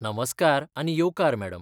नमस्कार आनी येवकार मॅडम.